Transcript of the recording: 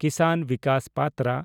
ᱠᱤᱥᱟᱱ Vikas ᱯᱟᱛᱨᱟ